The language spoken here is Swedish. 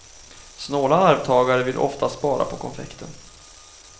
Snåla arvtagare vill ofta spara på konfekten.